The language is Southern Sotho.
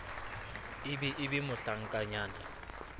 e be e be mohlankanyana